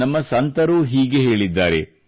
ನಮ್ಮ ಸಂತರೂ ಹೀಗೆ ಹೇಳಿದ್ದಾರೆ